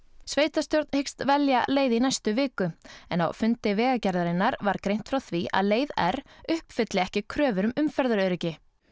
sveitarstjórn hyggst velja leið í næstu viku en á fundi Vegagerðarinnar var greint frá því að leið r uppfylli ekki kröfur um umferðaröryggi